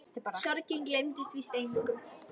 Sorgin gleymir víst engum.